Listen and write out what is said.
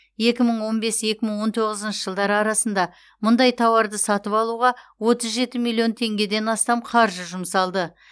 екі мың он бес екі мың он тоғызыншы жылдар арасында мұндай тауарды сатып алуға отыз жеті миллион теңгеден астам қаржы жұмсалды